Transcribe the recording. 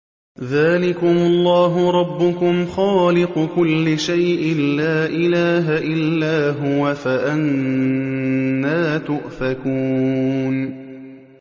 ذَٰلِكُمُ اللَّهُ رَبُّكُمْ خَالِقُ كُلِّ شَيْءٍ لَّا إِلَٰهَ إِلَّا هُوَ ۖ فَأَنَّىٰ تُؤْفَكُونَ